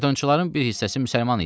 Faytonçuların bir hissəsi müsəlman idi.